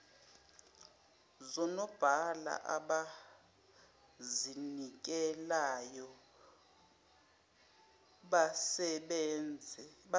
zonobhala abazinikelayo basebenze